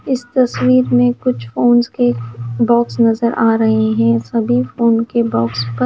इस तस्वीर में कुछ फोन्स के बॉक्स नजर आ रहे हैं। सभी फोन के बॉक्स पर--